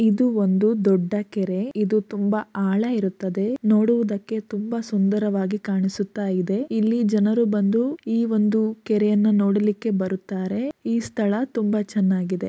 ಇದು ಒಂದು ದೊಡ್ಡ ಕೆರೆ. ಇದು ತುಂಬ ಆಳ ಇರುತ್ತದೆ. ನೋಡುವುದಕ್ಕೆ ತುಂಬಾ ಸುಂದರವಾಗಿ ಕಾಣಿಸುತ್ತಾಯಿದೆ. ಇಲ್ಲಿ ಜನರು ಬಂದು ಈ ಒಂದು ಕೆರೆಯನ್ನು ನೋಡಲಿಕ್ಕೆ ಬರುತ್ತಾರೆ. ಈ ಸ್ಥಳ ತುಂಬಾ ಚೆನ್ನಾಗಿದೆ.